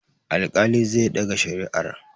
Alƙalin zai ɗaga shari'ar.